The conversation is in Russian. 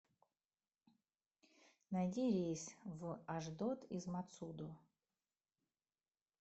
найди рейс в ашдод из мацудо